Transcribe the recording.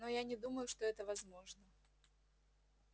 но я не думаю что это возможно